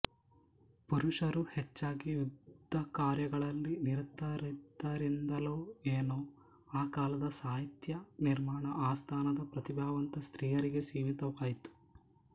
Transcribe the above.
ಪುರುಷರು ಹೆಚ್ಚಾಗಿ ಯುದ್ಧಕಾರ್ಯಗಳಲ್ಲಿ ನಿರತರಾದ್ದರಿಂದಲೋ ಏನೋ ಆ ಕಾಲದ ಸಾಹಿತ್ಯ ನಿರ್ಮಾಣ ಆಸ್ಥಾನದ ಪ್ರತಿಭಾವಂತ ಸ್ತ್ರೀಯರಿಗೆ ಸೀಮಿತವಾಯಿತು